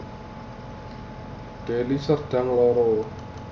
Deli Serdang loro